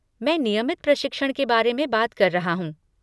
मैं नियमित प्रशिक्षण के बारे में बात कर रहा हूँ।